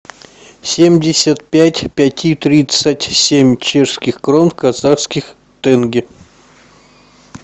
семьдесят пять пяти тридцать семь чешских крон в казахских тенге